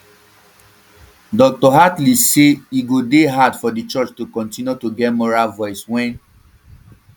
dr hartley say e go dey hard for di church to kontinu to get moral voice wen